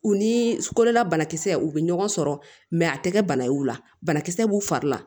U ni kolola banakisɛ u bɛ ɲɔgɔn sɔrɔ mɛ a tɛ kɛ bana ye o la banakisɛ b'u fari la